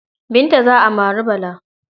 Binta za a mari Bala.